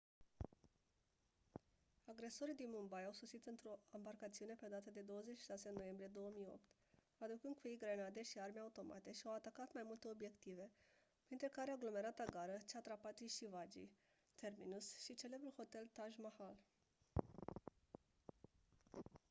agresorii din mumbai au sosit într-o ambarcațiune pe data de 26 noiembrie 2008 aducând cu ei grenade și arme automate și au atacat mai multe obiective printre care aglomerata gară chhatrapati shivaji terminus și celebrul hotel taj mahal